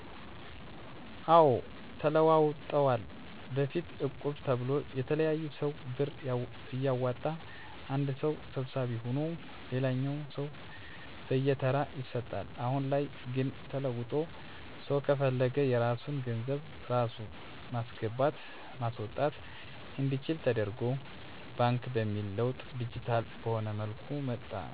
አዎ ተለውጠዋል በፊት እቁብ ተብሎ የተለያየ ሰው ብር እያዋጣ አንድ ሰው ሰብሳቢ ሁኖ ለሌላኛው ሰው በየተራ ይሰጣል። አሁን ላይ ግን ተለውጦ ሰው ከፈለገ የራሱን ገንዘብ ራሱ ማስገባት ማስወጣት አንዲችል ደተርጎ ባንክ በሚል ለውጥ ዲጂታል በሆነ መልኩ መጥቷል። እነዚህን ለውጦች ያነሳሳው ሰው በፈለገው ሰአት መቆጠብ ብሎም ባሻው ሰአት የቆጠበውን መጠቀም እንዲችል ለውጦች መጥተዋል።